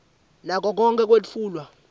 nako konkhe kwetfulwa